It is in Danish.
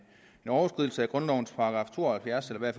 overskridelse af grundlovens § to og halvfjerds eller i